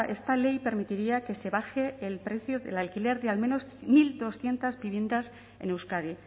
esta ley permitiría que se baje el precio del alquiler de al menos mil doscientos viviendas en euskadi